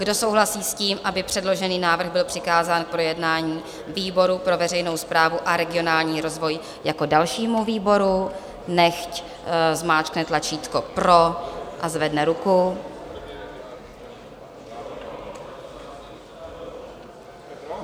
Kdo souhlasí s tím, aby předložený návrh byl přikázán k projednání výboru pro veřejnou správu a regionální rozvoj jako dalšímu výboru, nechť zmáčkne tlačítko pro a zvedne ruku.